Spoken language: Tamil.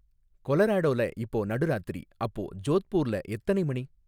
கொலராடோல இப்போ நடுராத்திரி அப்போ ஜோத்பூர்ல எத்தனை மணி?